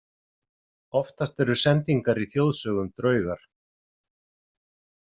Oftast eru sendingar í þjóðsögum draugar.